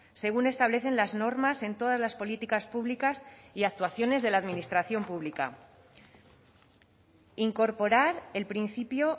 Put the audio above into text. según establecen las normas en todas las políticas públicas y actuaciones de la administración pública incorporar el principio